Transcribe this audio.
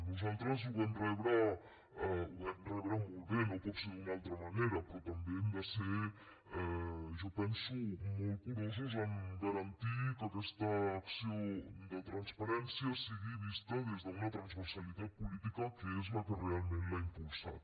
nosaltres ho vam rebre molt bé no pot ser d’una altra manera però també hem de ser jo penso molt curosos a garantir que aquesta acció de transparència sigui vista des d’una transversalitat política que és la que realment l’ha impulsat